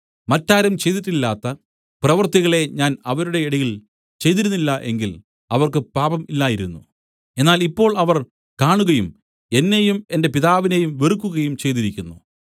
മറ്റാരും ചെയ്തിട്ടില്ലാത്ത പ്രവൃത്തികളെ ഞാൻ അവരുടെ ഇടയിൽ ചെയ്തിരുന്നില്ല എങ്കിൽ അവർക്ക് പാപം ഇല്ലായിരുന്നു എന്നാൽ ഇപ്പോൾ അവർ കാണുകയും എന്നെയും എന്റെ പിതാവിനെയും വെറുക്കുകയും ചെയ്തിരിക്കുന്നു